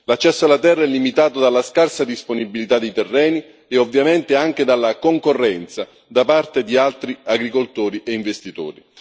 L'accesso alla terra è limitato dalla scarsa disponibilità di terreni e ovviamente anche dalla concorrenza da parte di altri agricoltori e investitori.